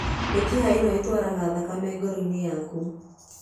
Mĩkiha ĩno ĩtwaraga thakame ngoro-inĩ yaku.